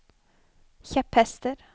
kjepphester